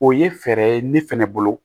O ye fɛɛrɛ ye ne fɛnɛ bolo